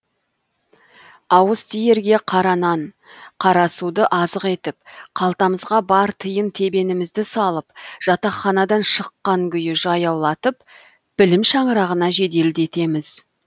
ауыз тиерге қара нан қара суды азық етіп қалтамызға бар тиын тебенімізді салып жатаханадан шыққан күйі жаяулатып білім шаңырағына жеделдетеміз